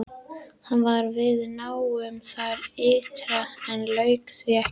Hann var við nám þar ytra en lauk því ekki.